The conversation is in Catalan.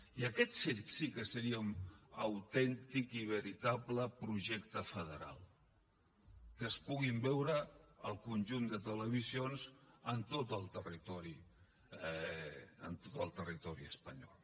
i aquest sí que seria un autèntic i veritable projecte federal que es puguin veure el conjunt de televisions en tot el territori espanyol